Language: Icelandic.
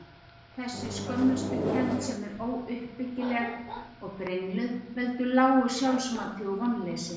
Þessi skömmustukennd, sem er óuppbyggileg og brengluð, veldur lágu sjálfsmati og vonleysi.